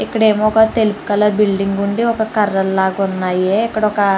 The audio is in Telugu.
ఇక్కడేమో ఒక తెలుగు కలర్ బిల్డింగ్ లాగా ఉంది ఒక కర్ర లాగా ఉన్నాయి. ఇక్కడ ఒక --